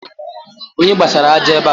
Onye kposara ájá ébé a